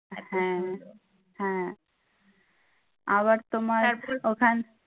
হ্যাঁ হ্যাঁ। আবার তোমার ওখান